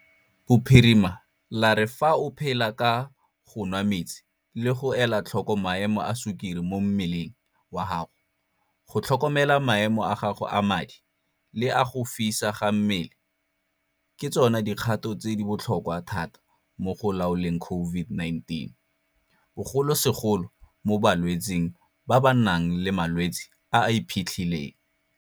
Bophirima la re fa o phela ka go nwa metsi le go ela tlhoko maemo a sukiri mo mmeleng wa gago, go tlhokomela maemo a gago a madi le a go fisa ga mmele ke tsona dikgato tse di botlhokwa thata mo go laoleng COVID-19, bogolosegolo mo balwetseng ba ba nang le malwetse a a iphitlhileng.